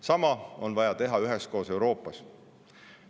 Sama on vaja teha üheskoos Euroopas.